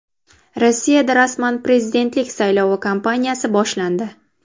Rossiyada rasman prezidentlik saylovi kampaniyasi boshlandi.